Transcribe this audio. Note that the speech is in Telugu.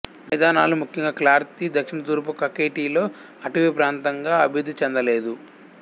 మైదానాలు ముఖ్యంగా కార్త్లీ దక్షిణతూర్పు కఖెటిలో అటవీప్రాంతంగా అభివృద్ధి చెందలేదు